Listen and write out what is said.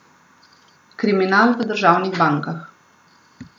Kriminal v državnih bankah.